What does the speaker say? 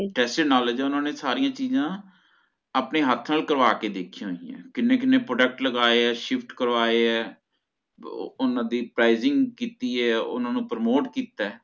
tacit knowledge ਓਹਨਾ ਨੇ ਸਾਰੀਆਂ ਚੀਜ਼ਾਂ ਆਪਣੇ ਹੱਥ ਨਾਲ ਕਰਵਾ ਕੇ ਦੇਖੀਆਂ ਹੋਈਆਂ ਕਿੰਨੇ ਕਿੰਨੇ Product ਲਗਾਏ shift ਕਰਵਾਏ ਆ ਓ ਓਹਨਾ ਦੀ Prizing ਕੀਤੀ ਏ ਓਹਨਾ ਨੂੰ Permote ਕੀਤਾ ਏ